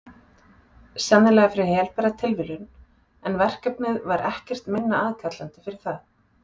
Sennilega fyrir helbera tilviljun, en verkefnið var ekkert minna aðkallandi fyrir það.